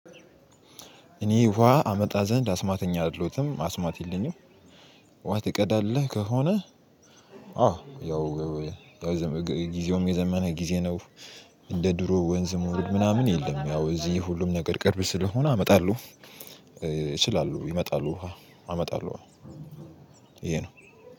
እኔ ውሃ አመጣ ዘንድ አስማተኛ አደለውትም አስማት የለኝም። ውሃ ትቀዳለህ ከሆነ? አዎ ያው ያው ጊዜውም የዘመነ ጊዜ ነው። እንደ ድሮ ወንዝ መውረድ ምናምን የለም። ያው እዚህ ሁሉም ነገር ቅርብ ስለሆነ አመጣለሁ። እችላለሁ ይመጣል ውሃ አመጣለሁ። ይሄ ነው።